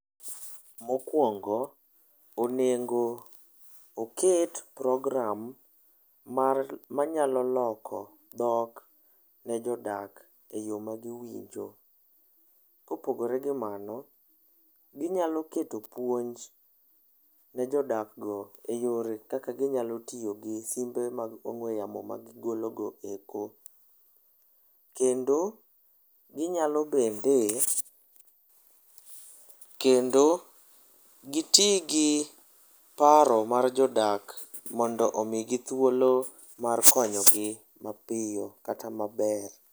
Mokuongo onego oket program mar manyalo loko dhok ne jodak eyo magiwinjo. Kopogore gi mano, ginyalo keto puonj ne jodakgo eyore kaka ginyalo tiyo gi simbe mag ong'ue yamo magigolo go eko. Kendo ginyalo bende kendo giti gi paro mar jodak mondo omigi thuolo mar konyogi mapiyo kata maber.